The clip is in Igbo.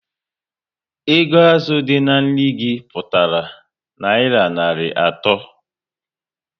Ego azụ dị na nri gi pụtara nayira narị ato